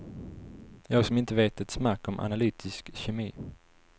Jag som inte vet ett smack om analytisk kemi.